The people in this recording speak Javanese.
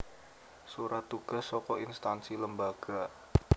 Surat tugas saka instansi lembagac